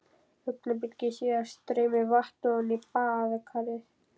Augnabliki síðar streymir vatn ofan í baðkarið.